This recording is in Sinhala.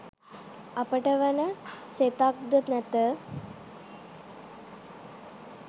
අපට වන සෙතක්ද නැත